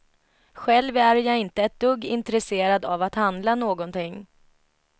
Själv är jag inte ett dugg intresserad av att handla någonting.